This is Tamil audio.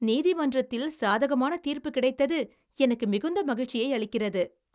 நீதிமன்றத்தில் சாதகமான தீர்ப்பு கிடைத்தது எனக்கு மிகுந்த மகிழ்ச்சியை அளிக்கிறது.